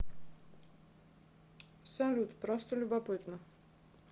салют просто любопытно